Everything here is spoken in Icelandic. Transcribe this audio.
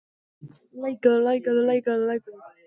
Ásgrímur, kanntu að spila lagið „Söngur fjallkonunnar“?